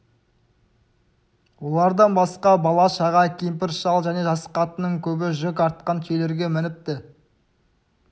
олардан басқа бала-шаға кемпір-шал және жас қатынның көбі жүк артқан түйелерге мініпті